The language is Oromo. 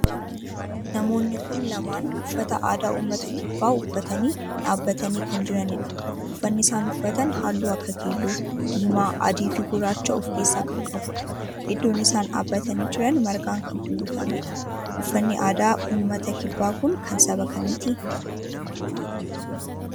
namoonni kun lamaan uffata aadaa ummata kibbaa uffatanii dhaabbatanii kan jiranidha. uffanni isaan uffatan halluu akka keelloo, diimaa, adii fi gurraacha of keessaa kan qabudha. iddoon isaan dhaabbatanii jiran margaan kun uwwifamedha. uffanni aadaa ummata kibbaa kun kan saba kamiiti?